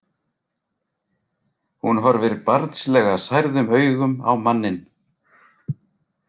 Hún horfir barnslega særðum augum á manninn.